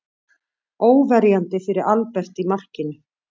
Óverjandi fyrir Albert í markinu.